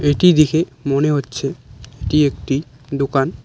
এটি দিখে মনে হচ্ছে এটি একটি দোকান।